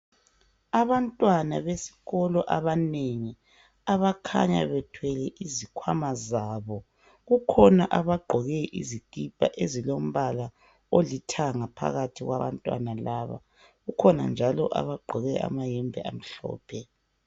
Abantwana besikolo abanengi abakhanya bethwele izikhwama zabo. Kukhona abagqoke isikipa ezilombala olithanga phakathi kwabantwana laba. kukhona njalo abagqoke amayembe amhlophe.